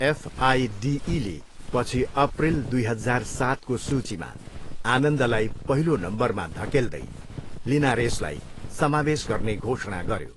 एफआइडिईले पछि अप्रिल दुई हजार सातको सूचीमा, आनन्दलाई पहिलो नम्बरमा धकेल्दै लिनारेसलाई समावेश गर्ने घोषणा गर्यो।